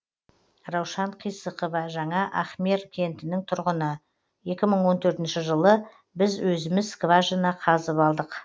раушан қисықова жаңа ахмер кентінің тұрғыны екі мың он төртінші жылы біз өзіміз скважина қазып алдық